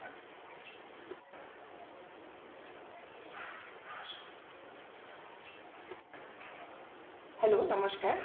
hello নমস্কার